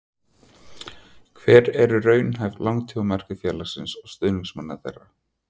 Hver eru raunhæf langtímamarkmið félagsins og stuðningsmanna þess?